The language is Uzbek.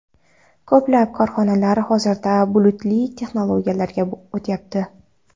Ko‘plab korxonalar hozirda bulutli texnologiyalarga o‘tyapti.